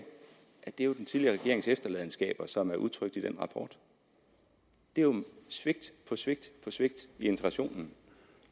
er den tidligere regerings efterladenskaber som er udtrykt i den rapport det er jo svigt på svigt på svigt i integrationen